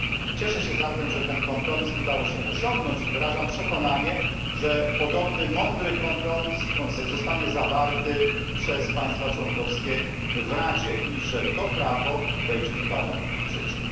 Cieszę się zatem, że ten kompromis udało się osiągnąć i wyrażam przekonanie, że podobny mądry kompromis zostanie zawarty przez państwa członkowskie w Radzie i że to prawo wejdzie niebawem w życie.